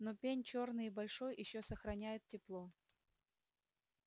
но пень чёрный и большой ещё сохраняет тепло